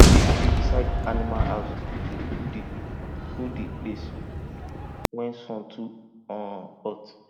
big tree beside animal house dey cool the cool the place when sun too um hot